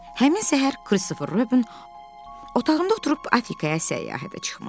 Həmin səhər Kristofer Robin otağımda oturub Afrikaya səyahətə çıxmışdı.